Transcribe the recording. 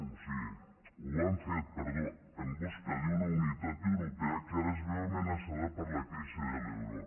o sigui ho han fet perdó ho han fet en busca d’una unitat europea que ara es veu amenaçada per la crisi de l’euro